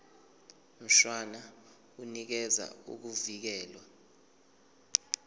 mshwana unikeza ukuvikelwa